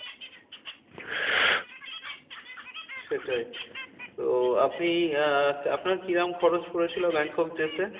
সেটাই তো আপনি আহ আপনার কি রকম খরচ পড়েছিল ব্যাংকক যেতে?